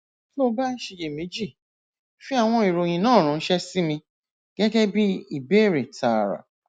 tó o bá ń ṣiyèméjì fi àwọn ìròyìn náà ránṣẹ sí mi gẹgẹ bí ìbéèrè tààrà